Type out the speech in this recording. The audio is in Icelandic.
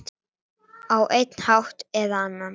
Á einn hátt eða annan.